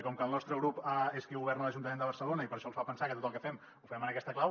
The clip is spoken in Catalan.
com que el nostre grup és qui governa a l’ajuntament de barcelona això els fa pensar que tot el que fem ho fem en aquesta clau